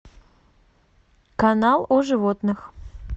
канал о животных